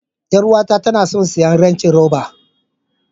Yar uwata tana son siyan range rober.